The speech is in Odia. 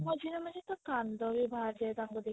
ମଝିରେ ମଝିରେ ତ କାନ୍ଦ ବି ବାହାରି ଯାଏ ତାଙ୍କୁ ଦେଖିଲେ